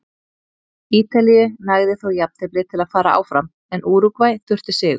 Ítalíu nægði þó jafntefli til að fara áfram en Úrúgvæ þurfti sigur.